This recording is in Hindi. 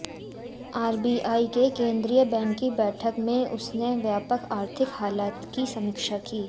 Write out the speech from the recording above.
आरबीआई के केंद्रीय बैंक की बैठक में उसने व्यापक आर्थिक हालात की समीक्षा की